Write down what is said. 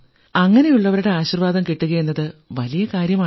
അങ്ങനെയുള്ളവരുടെ ആശീർവ്വാദം കിട്ടുകയെന്നത് വലിയ കാര്യമാണ്